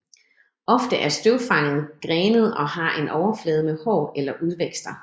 Ofte er støvfanget grenet og har en overflade med hår eller udvækster